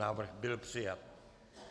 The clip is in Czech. Návrh byl přijat.